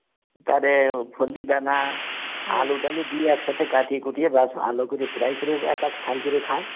তারে দানা টালু দিয়ে একসাথে কাটিয়ে কুতিয়ে বাস ভালো করে fry করে একটা স্থান করে খায়